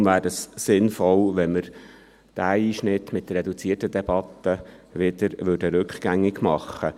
Deshalb wäre es sinnvoll, wir würden diesen Einschnitt der reduzierten Debatte wieder rückgängig machen.